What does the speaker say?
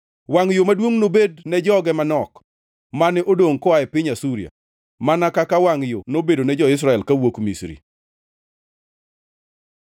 Wangʼ yo maduongʼ nobedi ne joge manok mane odongʼ koa e piny Asuria, mana kaka wangʼ yo nobedone jo-Israel kawuok Misri.